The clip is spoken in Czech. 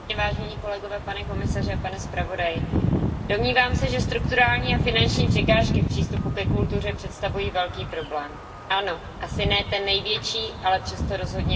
Pane předsedající, domnívám se, že strukturální a finanční překážky v přístupu ke kultuře představují velký problém. Ano, asi ne ten největší, ale přesto rozhodně významný.